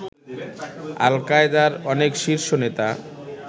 আল কায়দার অনেক শীর্ষ নেতা